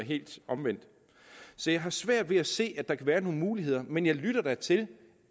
helt omvendt så jeg har svært ved at se at der kan være nogen muligheder men jeg lytter da til